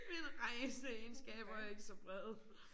Mine rejseegenskaber er ikke så brede